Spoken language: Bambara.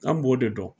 An b'o de dɔn